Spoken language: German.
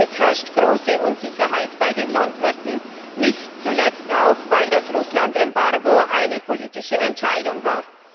Es herrscht große Unsicherheit bei den Landwirten, nicht zuletzt auch weil das Russlandembargo eine politische Entscheidung war.